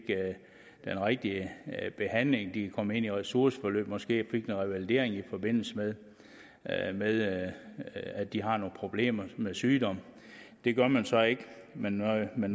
den rigtige behandling så de kan komme ind i ressourceforløb eller måske fik noget revalidering i forbindelse med at med at de har nogle problemer med sygdom det gør man så ikke man nøjes med